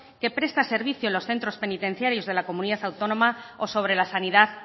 que presta servicio en los centros penitenciarios de la comunidad autónoma o sobre la sanidad